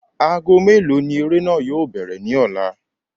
Aago mélòó ni eré náà yóò bẹ̀rẹ̀ ní ọ̀la?